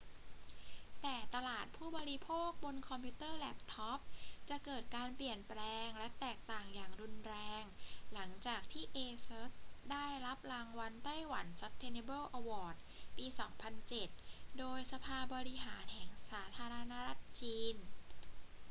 แต่ตลาดผู้บริโภคบนคอมพิวเตอร์แล็ปท็อปจะเกิดการเปลี่ยนแปลงและแตกต่างอย่างรุนแรง หลังจากที่ asus ได้รับรางวัล taiwan sustainable award ปี 2007 โดยสภาบริหารแห่งสาธารณรัฐจีน